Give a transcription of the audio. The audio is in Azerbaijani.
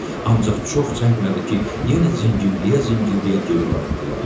Ancaq çox çəkmədi ki, yenə cingildəyə-cingildəyə geri qayıtdılar.